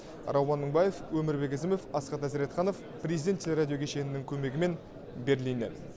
рауан мыңбаев өмірбек ізімов асхат әзіретханов президент телерадио кешенінің көмегімен берлиннен